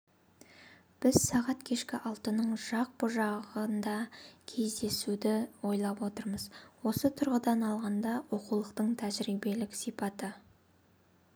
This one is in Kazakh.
біз сағат кешкі алтының жақ бұ жағында кездесуді ойлап отырмыз осы тұрғыдан алғанда оқулықтың тәжірибелік сипаты